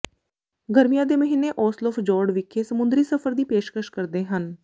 ਗਰਮੀਆਂ ਦੇ ਮਹੀਨੇ ਓਸਲੋਫਜੋਰਡ ਵਿਖੇ ਸਮੁੰਦਰੀ ਸਫ਼ਰ ਦੀ ਪੇਸ਼ਕਸ਼ ਕਰਦੇ ਹਨ